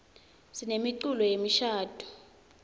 sinemiculo yemishadvo